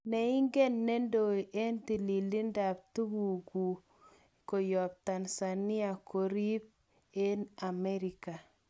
Neingen nedoe eng tililidap tagukut koyob Tanzania kerib eng America.